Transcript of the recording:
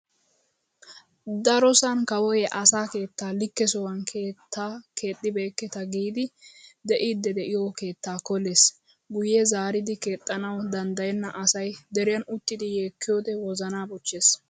Darosan kawoy asaa "keettaa likke sohuwan keettaa keexibeeketa" giidi de'iiddi de"iyoo keettaa kolees. Guyye zaaridi keexxanawu danddayenna asay deriyan uttidi yeekkiyoodee wozaana bochchees.